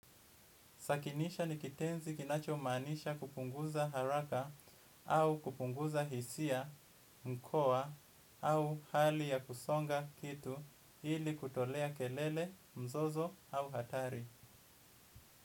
Sakinisha ni kitenzi kinachomaanisha kupunguza haraka au kupunguza hisia mkoa au hali ya kusonga kitu ili kutolea kelele mzozo au hatari.